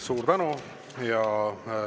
Suur tänu!